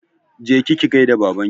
Je ki ki gaida Babanki!